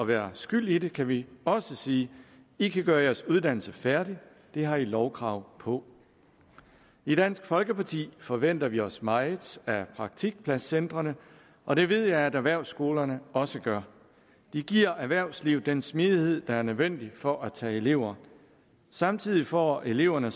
være skyld i det kan vi også sige i kan gøre jeres uddannelse færdig det har i et lovkrav på i dansk folkeparti forventer vi os meget af praktikpladscentrene og det ved jeg at erhvervsskolerne også gør de giver erhvervslivet den smidighed der er nødvendig for at tage elever samtidig får eleverne